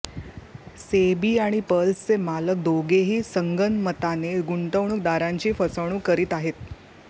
SEBI आणि पर्ल्सचे मालक दोघेही संगनमताने गुंतवणूकदारांची फसवणूक करीत आहेत